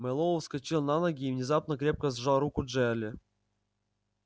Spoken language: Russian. мэллоу вскочил на ноги и внезапно крепко сжал руку джаэля